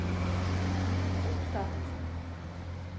opptatt